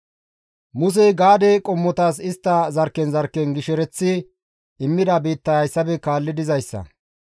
Musey Gaade qommotas istta zarkken zarkken gishereththi immida biittay hayssafe kaalli dizayssa.